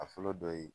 A fɔlɔ dɔ ye